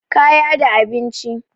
kaya da abinci